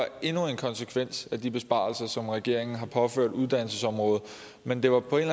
endnu en konsekvens af de besparelser som regeringen har påført uddannelsesområdet men det var på en